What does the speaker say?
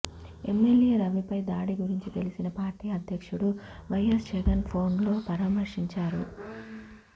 MLA రవిపై దాడి గురించి తెలిసిన పార్టీ అధ్యక్షుడు వైయస్ జగన్ ఫోన్లో పరామర్శించారు